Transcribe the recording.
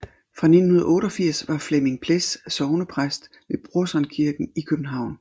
Fra 1988 var Flemming Pless sognepræst ved Brorsons Kirke i København